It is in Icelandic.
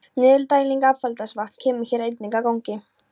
Niðurdæling affallsvatns kemur hér einnig að gagni.